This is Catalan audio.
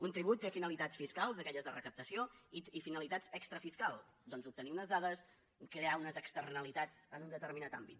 un tribut té finalitats fiscals d’aquelles de recaptació i finalitats extra fiscals doncs obtenir unes dades crear unes externalitats en un determinat àmbit